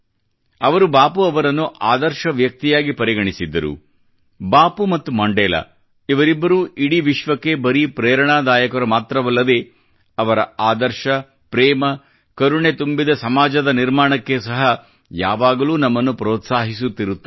ಅವರು ಬಾಪೂ ಅವರನ್ನು ಅದರ್ಶ ವ್ಯಕ್ತಿಯಾಗಿ ಪರಿಗಣಿಸಿದ್ದರು ಬಾಪೂ ಮತ್ತು ಮಂಡೇಲಾ ಇವರಿಬ್ಬರೂ ಇಡೀ ವಿಶ್ವಕ್ಕೆ ಬರೀ ಪ್ರೆರಣಾದಾಯಕರು ಮಾತ್ರವಲ್ಲದೆ ಅವರ ಆದರ್ಶ ಪ್ರೇಮ ಮತ್ತು ಕರುಣೆ ತುಂಬಿದ ಸಮಾಜದ ನಿರ್ಮಾಣಕ್ಕೆ ಸಹ ಯಾವಾಗಲೋ ನಮ್ಮನ್ನು ಪ್ರೋತ್ಸಾಹಿಸುತ್ತಿರುತ್ತವೆ